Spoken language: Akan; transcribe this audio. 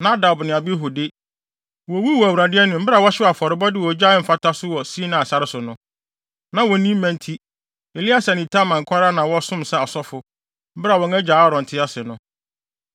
Nadab ne Abihu de, wowuwuu wɔ Awurade anim bere a wɔhyew afɔrebɔde wɔ ogya a ɛmfata so wɔ Sinai sare so no. Na wonni mma nti, Eleasar ne Itamar nko ara na wɔsom sɛ asɔfo, bere a wɔn agya Aaron te ase no.